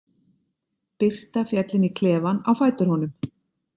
Birta féll inn í klefann á fætur honum.